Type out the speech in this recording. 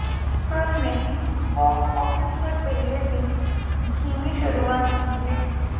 film ने box office पर पहले दिन धीमी शुरुआत की है